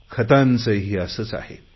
खतांचेही असेच आहे